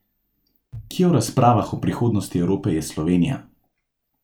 Kje v razpravah o prihodnosti Evrope je Slovenija?